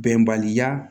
Bɛnbaliya